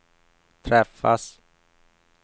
träffas